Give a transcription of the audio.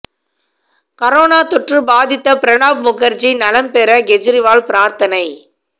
corona தொற்று பாதித்த பிரணாப் முகா்ஜி நலம் பெற கேஜரிவால் பிராா்த்தனை